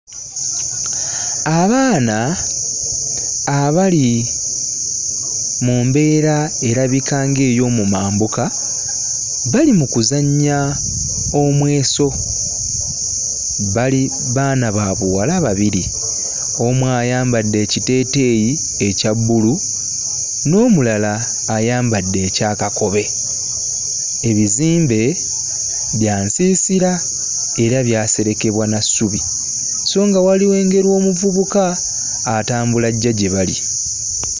Abaana abali mu mbeera erabika nga ey'omu mambuka bali mu kuzannya omweso bali baana ba buwala babiri omu ayambadde ekiteeteeyi ekya bbulu n'omulala ayambadde ekya kakobe ebizimbe bya nsiisira era byaserekebwa na ssubi so nga wali wengera omuvubuka atambula ajja gye bali.